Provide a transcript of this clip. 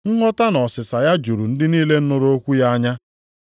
Nghọta na ọsịsa ya juru ndị niile nụrụ okwu ya anya.